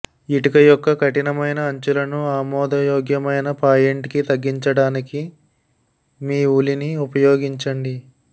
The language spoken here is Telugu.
ఇటుక యొక్క కఠినమైన అంచులను ఆమోదయోగ్యమైన పాయింట్కి తగ్గించడానికి మీ ఉలిని ఉపయోగించండి